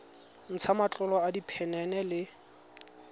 ntsha matlolo a diphenene le